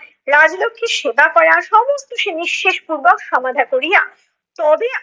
রাজলক্ষীর সেবা করা। সমস্ত সে নিঃশেষ পূর্বক সমাধা করিয়া তবে আসতো